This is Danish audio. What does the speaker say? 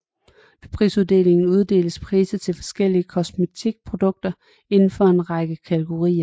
Ved prisuddelingen uddeles priser til forskellige kosmetikprodukter inden for en række kategorier